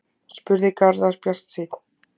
spurði Garðar bjartsýnn